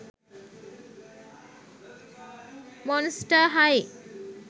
monster high